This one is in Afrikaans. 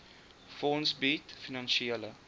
fonds bied finansiële